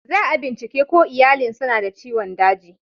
Za'a bincike ko iyalin suna da ciwon dagi.